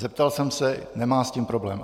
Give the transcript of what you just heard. Zeptal jsem se - nemá s tím problém.